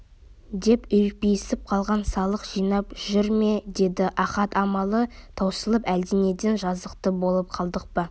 деп үрпиісіп қалған салық жинап жүр ме деді ахат амалы таусылып әлденеден жазықты болып қалдық па